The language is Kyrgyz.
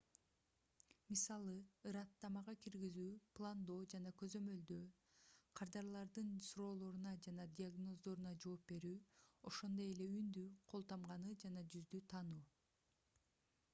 мисалы ырааттамага киргизүү пландоо жана көзөмөлдөө кардарлардын суроолоруна жана диагноздоруна жооп берүү ошондой эле үндү кол тамганы жана жүздү таануу